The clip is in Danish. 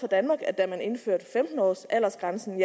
danmark at da man indførte femten års aldersgrænsen